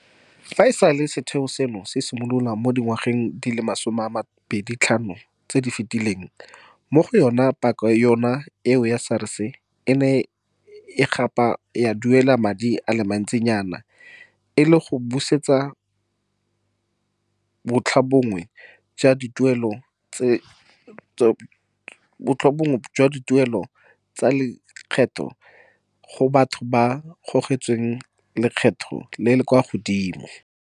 Fa e sale setheo seno se simololwa mo dingwageng di le 25 tse di fetileng, mo go yona paka yona eo SARS e ne gape ya duelela madi a le mantsinyana e le go busetsa bontlhabongwe jwa dituelelo tsa lekgetho go batho ba ba gogetsweng lekgetho le le kwa godimo.